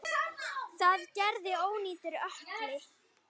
Það gerði ónýtur ökkli.